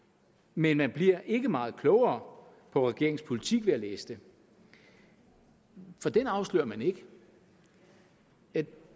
men man bliver ikke meget klogere på regeringens politik ved at læse det for den afslører man ikke